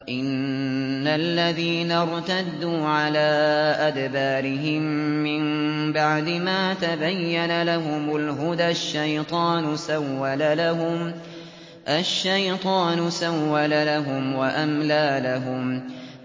إِنَّ الَّذِينَ ارْتَدُّوا عَلَىٰ أَدْبَارِهِم مِّن بَعْدِ مَا تَبَيَّنَ لَهُمُ الْهُدَى ۙ الشَّيْطَانُ سَوَّلَ لَهُمْ وَأَمْلَىٰ لَهُمْ